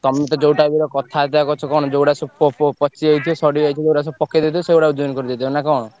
ତମେ ତ ଯୋଉ type ର କଥାବାର୍ତ୍ତା କରୁଚ କଣ ଯୋଉଗୁଡା ସବୁ ପ~ ପ~ ପଚି ଯାଇଥିବ ସଢିଯାଇଥିବ ସେଇଗୁଡା ସବୁ ପକେଇଦେଇଥିବ ସେଇଗୁଡା ଓଜନ କରି ଦେଇଦବ ନା କଣ?